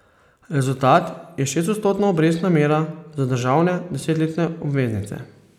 Rezultat je šestodstotna obrestna mera za državne desetletne obveznice.